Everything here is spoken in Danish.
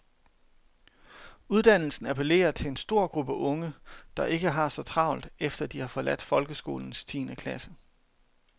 Uddannelsen appellerer til en stor gruppe unge, der ikke har så travlt efter de har forladt folkeskolens tiende klasse.